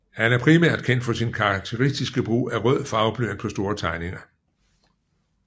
Han er primært kendt for sine karateristiske brug af rød farveblyant på store tegninger